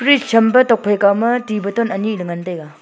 fridge champe tokphai kauma to bottle ani le ngantaiga.